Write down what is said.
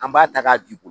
An b'a ta k'a di ko